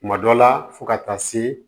Kuma dɔ la fo ka taa se